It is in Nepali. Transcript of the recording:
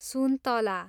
सुन्तला